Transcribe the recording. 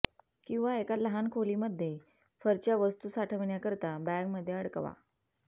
किंवा एका लहान खोलीमध्ये फरच्या वस्तू साठवण्याकरिता बॅगमध्ये अडकवा